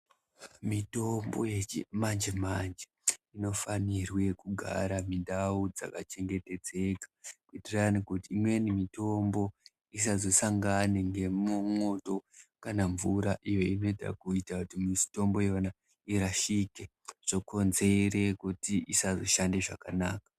Mitombo yechimanje manje inofanirwe kugara mindau dzakachengetedzeka kuitirane kuti imweni mitombo isazosangane ngemwoto kana mvura iyo inoita kuita mitombo yemwana irashike zvokonzere kuti isashande zvakanaka.